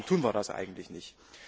Warum tun wir das eigentlich nicht?